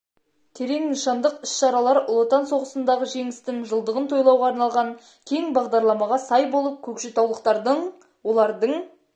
терең нышандық іс-шаралар ұлы отан соғысындағы жеңістің жылдығын тойлауға арналған кең бағдарламаға сай болып көкшетаулықтардың олардың